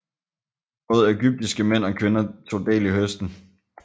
Både ægyptiske mænd og kvinder tog del i høsten